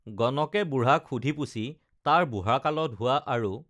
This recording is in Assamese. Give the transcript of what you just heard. গণকে বুঢ়াক সুধিপুচি তাৰ বুঢ়াকালত হোৱা আৰু